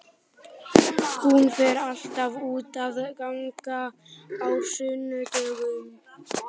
Hún fer alltaf út að ganga á sunnudögum.